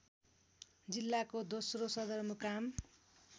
जिल्लाको दोस्रो सदरमुकाम